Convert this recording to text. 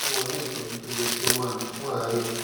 fún wọn ní ìtọjú tó yẹ kí wọn máa lò fún àárẹ